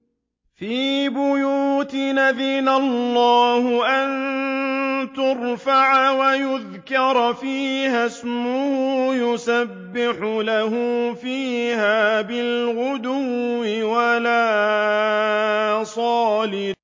فِي بُيُوتٍ أَذِنَ اللَّهُ أَن تُرْفَعَ وَيُذْكَرَ فِيهَا اسْمُهُ يُسَبِّحُ لَهُ فِيهَا بِالْغُدُوِّ وَالْآصَالِ